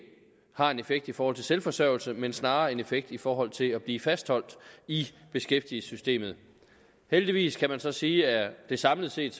har en effekt i forhold til selvforsørgelse men snarere en effekt i forhold til at blive fastholdt i beskæftigelsessystemet heldigvis kan man så sige at det samlet set